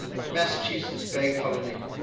massachusetts bay colony